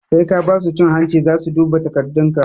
Sai ka basu cin hanci zasu duba takardun ka